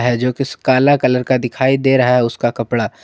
है जो की काला कलर का दिखाई दे रहा है उसका कपड़ा--